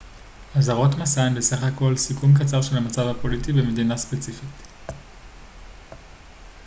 אזהרות מסע הן בסך הכל סיכום קצר של המצב הפוליטי במדינה ספציפית